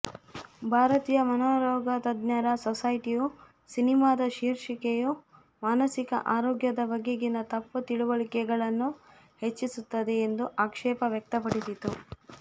ಭಾರತೀಯ ಮನೋರೋಗತಜ್ಞರ ಸೊಸೈಟಿಯು ಸಿನಿಮಾದ ಶೀರ್ಷಿಕೆಯು ಮಾನಸಿಕ ಆರೋಗ್ಯದ ಬಗೆಗಿನ ತಪ್ಪು ತಿಳುವಳಿಕೆಗಳನ್ನು ಹೆಚ್ಚಿಸುತ್ತದೆ ಎಂದು ಆಕ್ಷೇಪ ವ್ಯಕ್ತಪಡಿಸಿತ್ತು